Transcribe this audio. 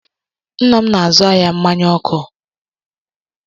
Nna m na-azụ ahịa mmanya oku